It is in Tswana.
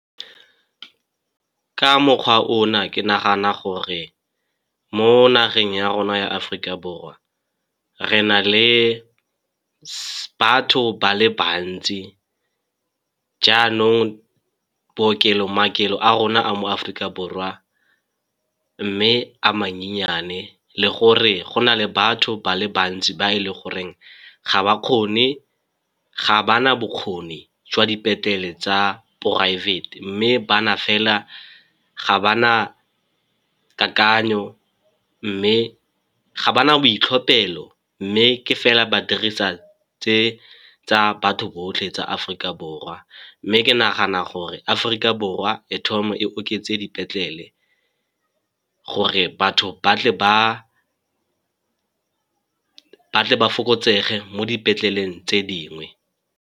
Ka mokgwa ona ke nagana gore mo nageng ya rona ya Aforika Borwa, re na le batho ba le bantsi jaanong maokelo a rona a mo Aforika Borwa mme a manyenyane. Le gore gona le batho ba le bantsi ba e le goreng ga ba na bokgoni jwa dipetlele tsa poraefete mme ba na fela, ga ba na kakanyo mme ga ba na boitlhophelo, mme ke fela badirisa tse tsa batho botlhe tsa Aforika Borwa. Mme ke nagana gore Aforika Borwa e thome e oketse dipetlele gore batho ba tle ba fokotsege mo dipetleleng tse dingwe.